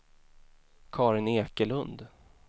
Karin Ekelund